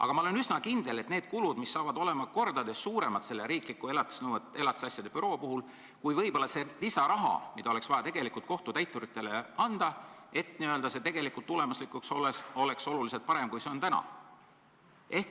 Aga ma olen üsna kindel, et need kulud on riikliku elatisasjade büroo puhul mitu korda suuremad kui võib-olla see lisaraha, mida oleks vaja kohtutäituritele anda, et tulemuslikkus oleks parem, kui on täna.